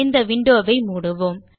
இந்த விண்டோ வை மூடுவோம்